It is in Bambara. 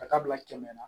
Ka taa bila kɛmɛ na